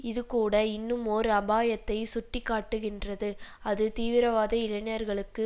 இது கூட இன்னுமோர் அபாயத்தை சுட்டி காட்டுகின்றது அது தீவிரவாத இளைஞர்களுக்கு